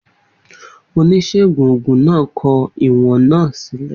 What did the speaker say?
Oníṣègùn òògùn náà kọ ìwọ̀n ìwọ̀n náà sílẹ̀.